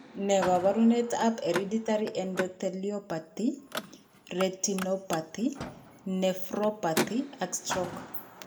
Ne kaabarunetap Hereditary endotheliopathy, retinopathy, nephropathy, and stroke?